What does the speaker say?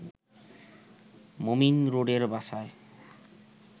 মোমিন রোডের বাসায়